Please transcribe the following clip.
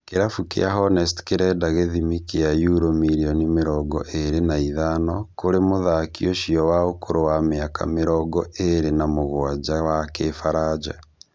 Kĩrabu kĩa Hornets kĩrenda gĩthimi kĩa yuro mirioni mĩrongo ĩrĩ na ithano kũrĩ mũthaki ũcio wa ũkũrũ wa mĩaka mĩrongo ĩrĩ na mũgwanja, wa kĩfaranja